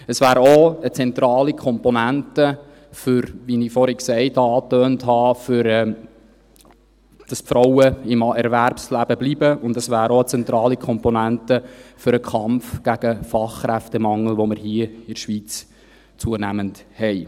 Es wäre auch eine zentrale Komponente, wie ich vorhin angetönt habe, damit die Frauen im Erwerbsleben bleiben, und es wäre auch eine zentrale Komponente für den Kampf gegen den Fachkräftemangel, den wir hier in der Schweiz zunehmend haben.